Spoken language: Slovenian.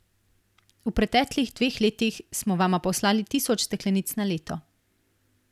V preteklih dveh letih smo vama poslali tisoč steklenic na leto.